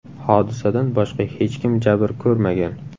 Hodisadan boshqa hech kim jabr ko‘rmagan.